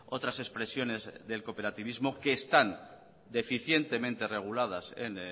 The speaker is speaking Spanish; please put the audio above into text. otras expresiones del cooperativismo que están deficientemente reguladas en